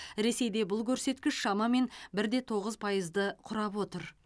ресейде бұл көрсеткіш шамамен бірде тоғыз пайызды құрап отыр